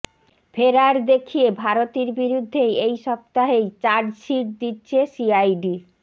ফেরার দেখিয়ে ভারতীর বিরুদ্ধে এই সপ্তাহেই চার্জশিট দিচ্ছে সিআইডি